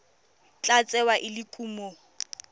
tla tsewa e le kumo